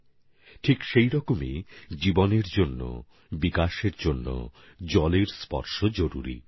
একইভাবে জলের স্পর্শ জীবনের জন্য জরুরি উন্নয়নের জন্য জরুরি